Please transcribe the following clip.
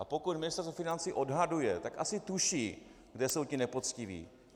A pokud Ministerstvo financí odhaduje, tak asi tuší, kde jsou ti nepoctiví.